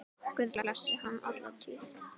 Guð blessi hann alla tíð.